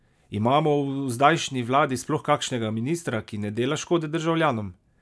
Imamo v zdajšnji vladi sploh kakšnega ministra, ki ne dela škode državljanom?